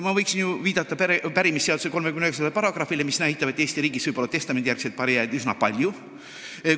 Ma võin viidata pärimisseaduse §-le 39, mis näitab, et Eesti riigis võib testamendijärgseid pärijaid üsna palju olla.